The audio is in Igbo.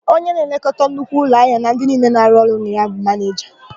Onye na-elekọta nnukwu ụlọahịa na ndị niile na-arụ ọrụ na ya bụ manịja.